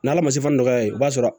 N'ala ma se fɔ nɔgɔya ye i b'a sɔrɔ